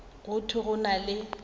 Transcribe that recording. go thwe go na le